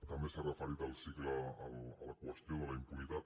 també s’ha referit a la qüestió de la impunitat